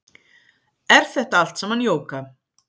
Er þetta allt saman jóga